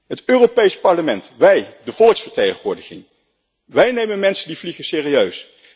Het Europees Parlement, wij, de volksvertegenwoordiging, wij nemen mensen die vliegen serieus.